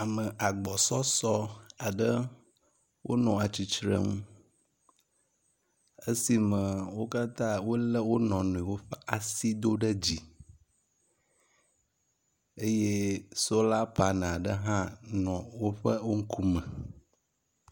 Ame agbɔsɔsɔ wonɔ atsitrenu le esime wo katã wolé wo nɔ nɔewo ƒe asi do ɖe dzi eye sola panel aɖe hã nɔ woƒe ŋkume.